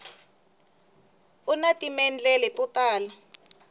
una timendlele to tala